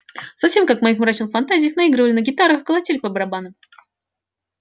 совсем как в моих мрачных фантазиях наигрывали на гитарах колотили по барабану